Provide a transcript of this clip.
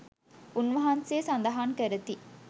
උන්වහන්සේ සඳහන් කරති.